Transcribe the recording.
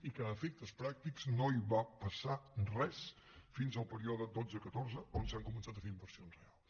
i que a efectes pràctics no hi va passar res fins al període dotze catorze on s’han començat a fer inversions reals